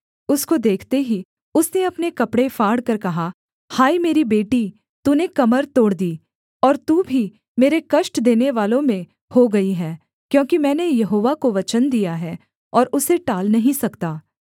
उसको देखते ही उसने अपने कपड़े फाड़कर कहा हाय मेरी बेटी तूने कमर तोड़ दी और तू भी मेरे कष्ट देनेवालों में हो गई है क्योंकि मैंने यहोवा को वचन दिया है और उसे टाल नहीं सकता